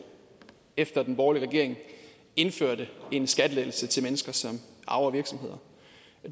efter den borgerlige regering indførte en skattelettelse til mennesker som arver virksomheder